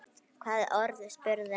Hvaða orð? spurði hann.